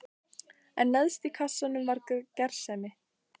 En neðst í kassanum var gersemin.